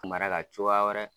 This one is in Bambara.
mara ka cogoya wɛrɛ